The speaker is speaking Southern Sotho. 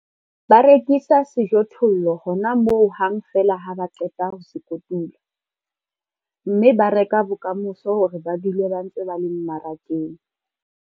Ba rekisa sejothollo hona moo hang feela ha ba qeta ho se kotula, mme ba reka bokamoso hore ba dule ba ntse ba le mmarakeng.